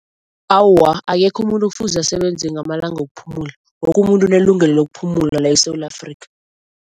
Awa, akekho umuntu kufuze asebenze ngamalanga wokuphumula. Woke umuntu unelungelo lokuphumula la eSewula Afrika.